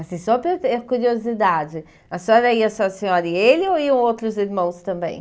Assim, só por ter curiosidade, a senhora ia só a senhora e ele ou iam outros irmãos também?